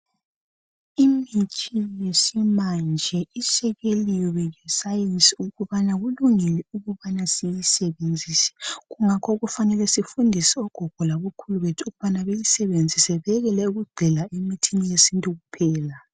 Imithi yesimanje isekelwe yi sayensi ukubana ilungile ukuthi siyisebenzise kungakho kufanele sifundise ogogo labokhulu bethu ukubana beyisebenzise bekele ukugxila emithini yesintu kuphela.